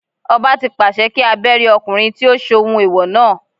Ọba tí pàṣẹ kí a Bẹ́rí ọkùnrin tí ó ṣohun ẹ̀wọ̀ náà.